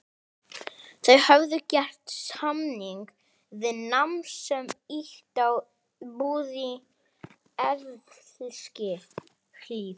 Þau höfðu gert samning við mann sem átti íbúð í Eskihlíð.